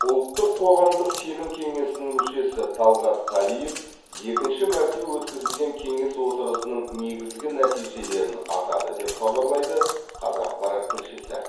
ұлттық қоғамдық сенім кеңесінің мүшесі талғат қалиев екінші мәрте өткізілген кеңес отырысының негізгі нәтижелерін атады деп хабарлайды қазақпарат тілшісі